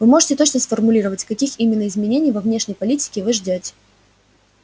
вы можете точно сформулировать каких именно изменений во внешней политике вы ждёте